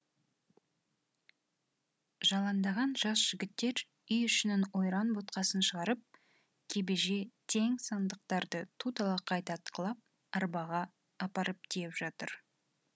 жаландаған жас жігіттер үй ішінің ойран боткасын шығарып кебеже тең сандықтарды ту талақай тартқылап арбаға апарып тиеп жатыр